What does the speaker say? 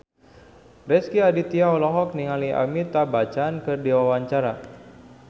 Rezky Aditya olohok ningali Amitabh Bachchan keur diwawancara